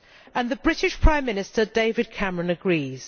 And the British Prime Minister David Cameron agrees.